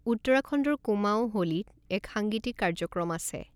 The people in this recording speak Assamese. উত্তৰাখণ্ডৰ কুমাঊঁ হোলীত এক সাংগীতিক কাৰ্যক্ৰম আছে।